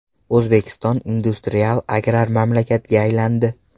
O‘zbekiston industrial-agrar mamlakatga aylandi.